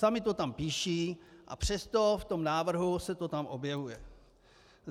Sami to tam píší, a přesto v tom návrhu se to tam objevuje.